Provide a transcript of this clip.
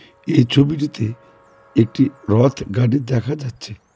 এই ছবিটিতে একটি রথগাড়ি দেখা যাচ্ছে।